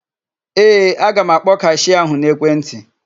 Ee, aga m akpọ kashịa ahụ n'ekwentị.